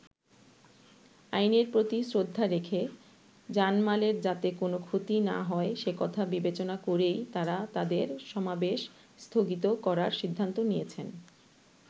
আইনের প্রতি শ্রদ্ধা রেখে, জানমালের যাতে কোনো ক্ষতি না হয় সেকথা বিবেচনা করেই তারা তাদের সমাবেশ স্থগিত করার সিদ্ধান্ত নিয়েছেন।